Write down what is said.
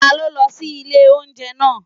Ta ló lọ sí ilé óúnjẹ naa?